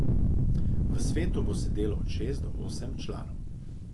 V svetu bo sedelo od šest od osem članov.